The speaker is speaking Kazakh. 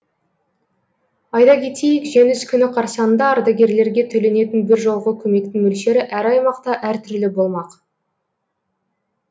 айта кетейік жеңіс күні қарсаңында ардагерлерге төленетін біржолғы көмектің мөлшері әр аймақта әртүрлі болмақ